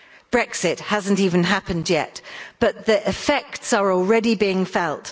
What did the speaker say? Brexit hasn't even happened yet, but the effects are already being felt.